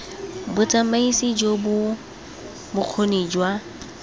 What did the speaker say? botsamaisi jo bo bokgoni jwa